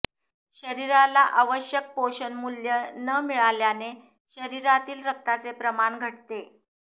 शरीराला आवश्यक पोषणमूल्य न मिळाल्याने शरीरातील रक्ताचे प्रमाण घटते